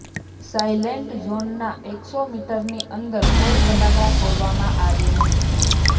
silent ઝોનના એકસો મીટરની અંદર કોઈ ફટાકડાં ફોડવામાં આવે નહીં